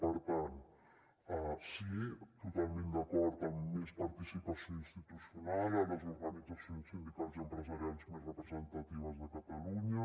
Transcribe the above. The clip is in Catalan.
per tant sí totalment d’acord amb més participació institucional a les organitzacions sindicals i empresarials més representatives de catalunya